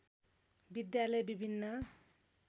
विद्यालय विभिन्न